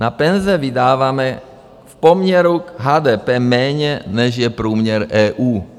Na penze vydáváme v poměru k HDP méně, než je průměr EU.